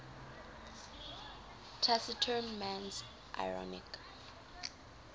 taciturn man's ironic